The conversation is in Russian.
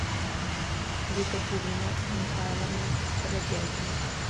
екатерина михайловна бродягина